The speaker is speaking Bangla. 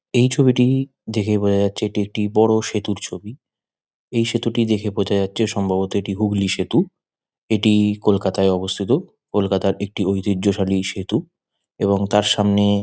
এই ছবিটি দেখে বোঝা যাচ্ছে এটি একটি বড় সেতুর ছবি । এই সেতুটি দেখে বোঝা যাচ্ছে সম্ভবত এটি হুগলি সেতু । এটি কলকাতা -য় অবস্থিত কলকাতা -র একটি ঐতিহ্যশালী সেতু । এবং তার সামনে--